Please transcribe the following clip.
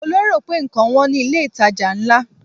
Mo lérò pé ǹkan wọn ní ilé ìtajà ńlá.